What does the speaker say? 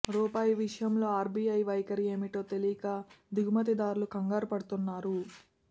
రూపాయి విషయంలో ఆర్బీఐ వైఖరి ఏమిటో తెలియక దిగుమతిదార్లు కంగారు పడుతున్నారు